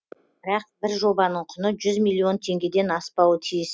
бірақ бір жобаның құны жүз миллион теңгеден аспауы тиіс